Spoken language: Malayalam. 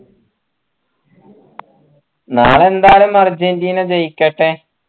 നാളെ എന്തായാലും അർജൻറീന ജയിക്കട്ടെ